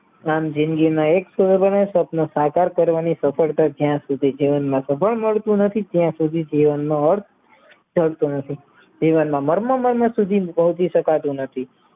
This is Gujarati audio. આમ જિંદગીના એક તોરણે તેનો આકાર સફળતા જ્યાં સુધી જીવનમાં સબળ રહેતી ત્યાં સુધી જીવનનોઅર્થ જડતો નથી જીવનમાં મારના સુધી રોકી શકાતું નથી